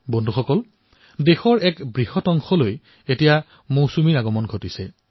বন্ধুসকল দেশৰ এক বৃহৎ অংশলৈ মৌচুমীৰ আগমন হৈছে